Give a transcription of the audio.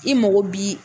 I mago bi